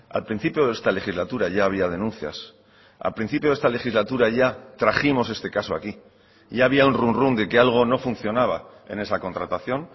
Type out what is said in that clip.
al principio de esta legislatura ya había denuncias al principio de esta legislatura ya trajimos este caso aquí ya había un runrún de que algo no funcionaba en esa contratación